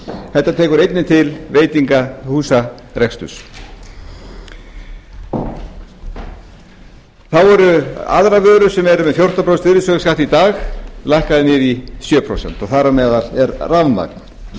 þetta tekur einnig til veitingahúsareksturs þá eru aðrar vörur sem eru með fjórtán prósent virðisaukaskatt í dag lækkaðar niður í sjö prósent og þar á meðal er rafmagn það